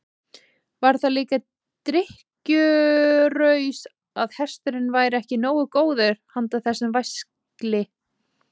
Var það líka drykkjuraus að hesturinn væri ekki nógu góður handa þessum væskli?